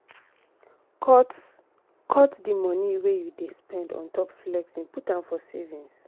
cut cut di money wey you dey spend on top flexing put am for savings